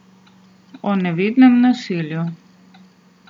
O nevidnem nasilju.